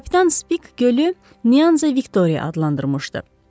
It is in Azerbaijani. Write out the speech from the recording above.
Kapitan Spik gölü Nyanza Viktoriya adlandırmışdı.